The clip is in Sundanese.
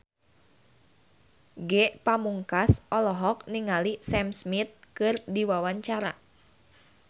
Ge Pamungkas olohok ningali Sam Smith keur diwawancara